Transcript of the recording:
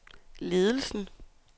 ledelsen